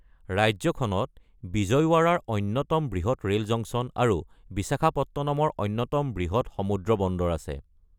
ৰাজ্যখনত বিজয়ৱাড়াৰ অন্যতম বৃহৎ ৰেল জংচন আৰু বিশাখাপত্তনমৰ অন্যতম বৃহৎ সমুদ্ৰ বন্দৰ আছে।